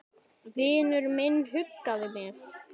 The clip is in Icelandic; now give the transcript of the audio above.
Vinur minn huggaði mig.